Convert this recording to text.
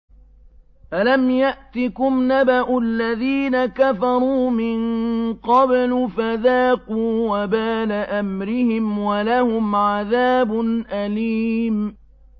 أَلَمْ يَأْتِكُمْ نَبَأُ الَّذِينَ كَفَرُوا مِن قَبْلُ فَذَاقُوا وَبَالَ أَمْرِهِمْ وَلَهُمْ عَذَابٌ أَلِيمٌ